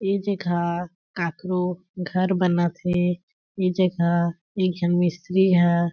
ए जगह काकरो घर बनत हें ए जगह एक झन मिस्त्री ह।